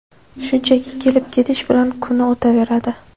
Shunchaki kelib-ketish bilan kuni o‘taveradi.